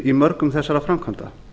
í mörgum þessara framkvæmda